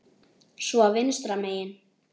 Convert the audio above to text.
Svo vinstra megin.